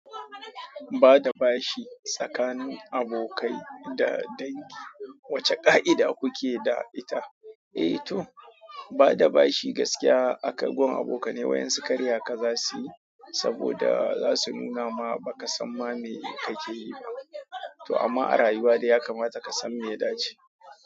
Bada bashi tsakanin abokai da dangi, wace ƙa'ida kuke da ita? Eh to, bada bashi gaskiya a wajen abokai waɗansu karya ka zasu yi, saboda zasu muna maka ma baka san me kake ba to amma a rayuwa da ya kamata ka san me ya dace.